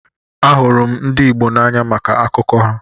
Ahụrụ m ndị Igbo n'anya maka akụkọ ha.